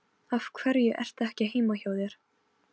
Guðbergur heyrði hann kallað á eftir sér.